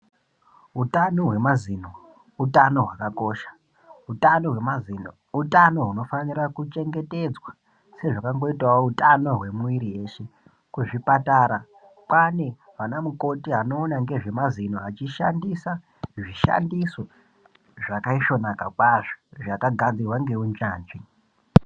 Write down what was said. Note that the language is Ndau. Utano hwemazino utano hwakakosha utano hwemazino utano gunofanira kuchengetedzwa sezvakangoitao utano hwemwiri weshe kuzvipatara kwaane ana mukoti anoona ngezvemazino achishandisa zvishandiso zvakasvonaka kwazvo zvakagadzirwa ngeunyanzvi.